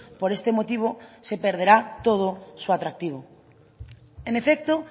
por este motivo se perderá todo su atractivo en efecto